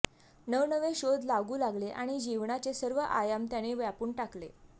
नवनवे शोध लागू लागले आणि जीवनाचे सर्व आयाम त्याने व्यापून टाकले